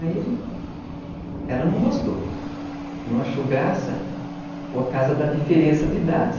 Aí ela não gostou, não achou graça, por causa da diferença de idade.